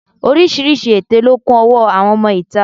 Oríṣiríṣi èté ló kún ọwọ́ àwọn ọmọ ìta